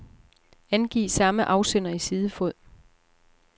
Angiv samme afsender i sidefod.